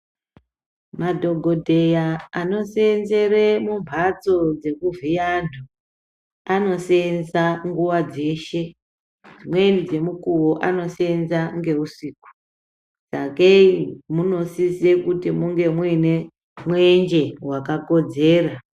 Madhokodheya anoseenzere mumhatso dzekuvhiye antu anoseenza nguwa dzeshe. Dzimweni dzemukuwo anoseenza ngeusiku. Sakei munosise kunge muine mwenje wakakodzera.